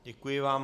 Děkuji vám.